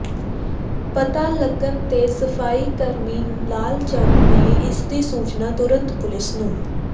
ਪਤਾ ਲੱਗਣ ਤੇ ਸਫਾਈ ਕਰਮੀ ਲਾਲ ਚੰਦ ਨੇ ਇਸਦੀ ਸੂਚਨਾ ਤੁਰੰਤ ਪੁਲਿਸ ਨੂੰ